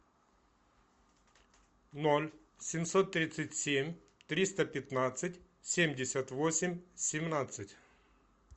ноль семьсот тридцать семь триста пятнадцать семьдесят восемь семнадцать